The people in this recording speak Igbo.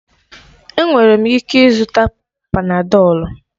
Enwere m ịke ịzụta panadọlu?